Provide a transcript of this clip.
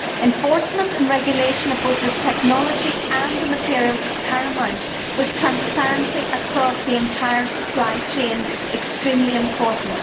Enforcement and regulation of both the technology and the materials is paramount, with transparency across the entire supply chain extremely important.